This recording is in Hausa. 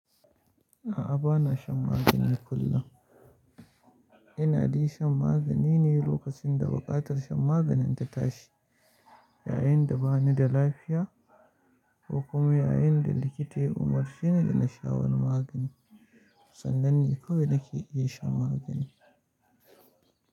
A'a, bana shan magani kullum. Ina dai shan magani ne lokacin da buƙatar shan maganin ta tashi, yayin da bani da lafiya ko kuma yayin da likita ya umarce ni da na sha wani magani. Sannan ne kawai nake iya shan magani.